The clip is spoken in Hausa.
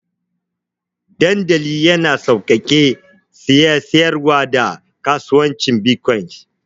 Dandali yana sauƙaƙe saye, siyarwa, da kasuwancin bitcoins.